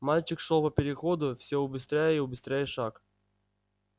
мальчик шёл по переходу всё убыстряя и убыстряя шаг